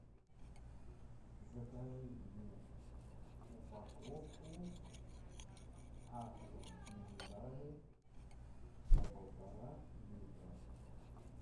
закажи мне упаковку аква минерале по полтора литра